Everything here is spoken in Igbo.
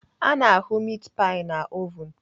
Ana ahụ mit pai na ovun.